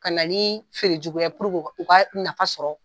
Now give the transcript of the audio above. Ka na ni feere juguya u ka nafa sɔrɔ.